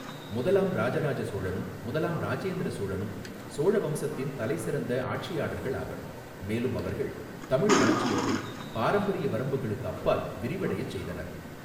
முதலாம் இராஜராஜ சோழனும் முதலாம் இராஜேந்திர சோழனும் சோழ வம்சத்தின் தலைசிறந்த ஆட்சியாளர்கள் ஆவர், மேலும் அவர்கள் தமிழ் ராஜ்ஜியத்தை பாரம்பரிய வரம்புகளுக்கு அப்பால் விரிவடையச் செய்தனர்.